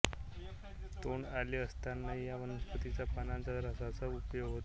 तोंड आले असताही या वनस्पतीच्या पानांच्या रसाचा उपयोग होतो